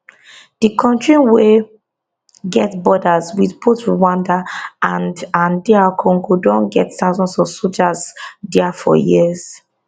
di kontri wey get borders wit both rwanda and and dr congo don get thousands of soldiers dia for years